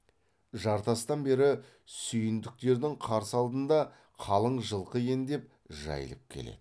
жартастан бері сүйіндіктердің қарсы алдында қалың жылқы ендеп жайылып келеді